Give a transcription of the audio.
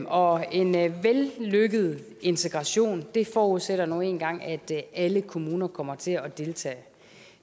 og en vellykket integration forudsætter nu engang at alle kommuner kommer til at deltage